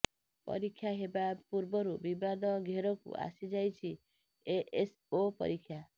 ପରୀକ୍ଷା ହେବା ପୂର୍ବରୁ ବିବାଦ ଘେରକୁ ଆସିଯାଇଛି ଏଏସଓ ପରୀକ୍ଷା